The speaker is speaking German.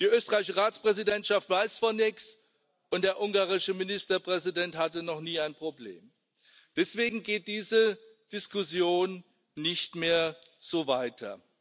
Die österreichische Ratspräsidentschaft weiß von nichts, und der ungarische Ministerpräsident hatte noch nie ein Problem. Deswegen geht diese Diskussion nicht mehr so weiter.